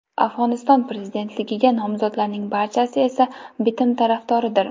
Afg‘oniston prezidentligiga nomzodlarning barchasi esa bitim tarafdoridir.